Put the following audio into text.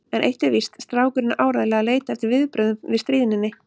En eitt er víst: Strákurinn er áreiðanlega að leita eftir viðbrögðum við stríðninni.